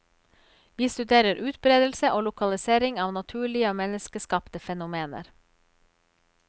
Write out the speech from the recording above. Vi studerer utbredelse og lokalisering av naturlige og menneskeskapte fenomener.